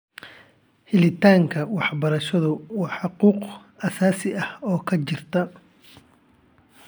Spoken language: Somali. Helitaanka waxbarashadu waa xuquuq asaasi ah oo ka jirta .